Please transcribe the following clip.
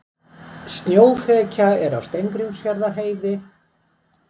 Snjóþekja er á Steingrímsfjarðarheiði